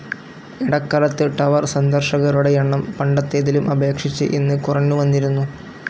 ഇടക്കാലത്ത് ടവർ സന്ദർശകരുടെ എണ്ണം പണ്ടത്തേതിലും അപേക്ഷിച്ച് ഇന്ന് കുറഞ്ഞുവന്നിരുന്നു.